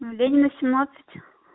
ленина семнадцать